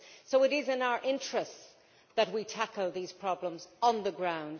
It is in our interests that we tackle these problems on the ground.